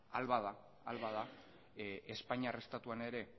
ahal bada espainiar estatuan ere